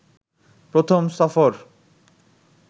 প্রথম সফর